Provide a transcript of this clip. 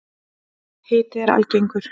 Hiti er algengur.